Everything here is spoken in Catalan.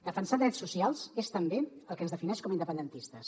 defensar drets socials és també el que ens defineix com a independentistes